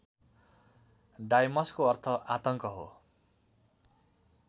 डाइमसको अर्थ आतङ्क हो